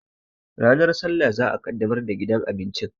Ranar sallah za'a ƙaddamar da gidan abincin